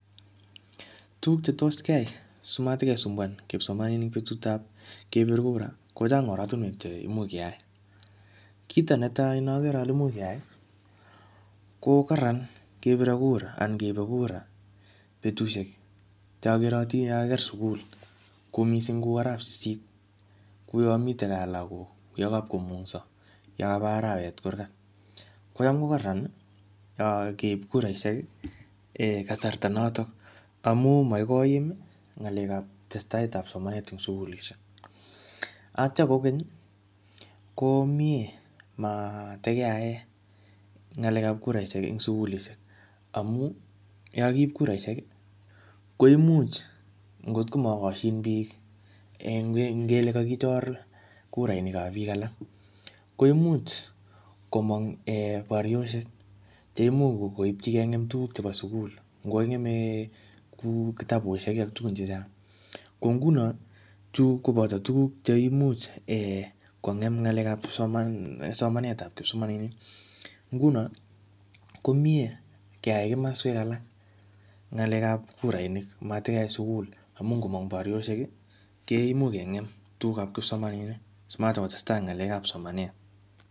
Tuguk chetos keai simatikesumbuan kipsomaninik betut ap kepir kura, kochang oratunwek che imuch keyai. Kito netai ne akere ale imuch keai, ko kararan kepire kura anan keipe kura betusiek cho keratin anan yekakiker sukul. Ku missing kuu arap sisit. Kuu yamite gaa lagok, yekapkomungso, yekaba arawet kurkat. Kocham ko kararan keip kuraishek um kasarta notok. Amu makoi koim ng'alekap testaet ap somanet eng sukulishek. Atya kokeny, ko mie matikeae ng'alekap kuraishek eng sukulishek. Amu, yakakiip kuraishek, ko imuch ngotko makashin bii, ngele kakichor kurainik ap biik alak, koimuch komong um barioshek. Che imuch koipchi kengem tuguk ap sukul. Ngokakingeme kuu kitabusiek ak tugun chechang. Ko nguno, chu koboto tuguk cheimuch um kongem ng'alekap somanet ap kipsomaninik. Nguno, ko miee keai kimaswek alak, ng'alekap kurainik, matkeae sukul. Amu ngomong barioshek, koimuch kengem tugukap kipsomaninik. Simatikotestai ng'alekap somanet.